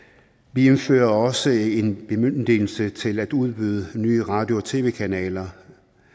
vi indfører også en bemyndigelse til at udbyde nye radio og tv kanaler